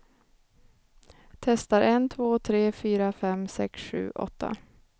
Testar en två tre fyra fem sex sju åtta.